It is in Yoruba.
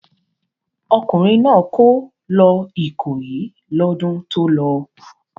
Ọkùnrin náà kó lọ Ìkòyí lọ́dún tó lọ.